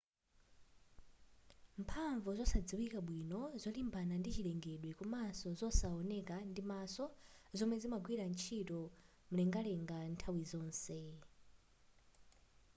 mphamvu zosadziwika bwino zolimbana ndi chilengedwe komanso zosaoneka ndimaso zomwe zimagwira ntchito mlengalenga nthawi zonse